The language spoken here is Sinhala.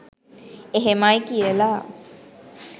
එහෙමයි කියලා